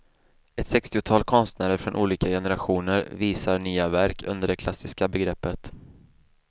Ett sextiotal konstnärer från olika generationer visar nya verk under det klassiska begreppet.